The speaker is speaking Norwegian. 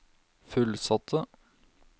fullsatte